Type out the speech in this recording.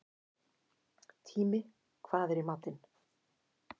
Tími, hvað er í matinn?